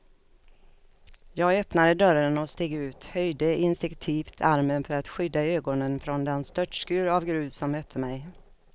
Jag öppnade dörren och steg ut, höjde instinktivt armen för att skydda ögonen från den störtskur av grus som mötte mig.